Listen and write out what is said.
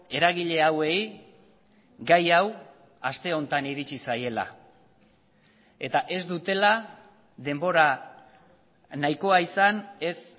eragile hauei gai hau aste honetan iritsi zaiela eta ez dutela denbora nahikoa izan ez